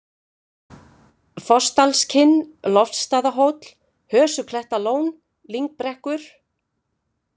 Fossdalskinn, Loftsstaðahóll, Hösuklettalón, Lyngbrekkur